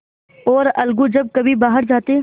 और अलगू जब कभी बाहर जाते